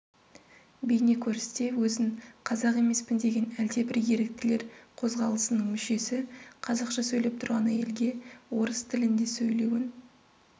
бейнекөріністе өзін қазақ емеспін деген әлдебір еріктілер қозғалысының мүшесі қазақша сөйлеп тұрған әйелге орыс тілінде сөйлеуін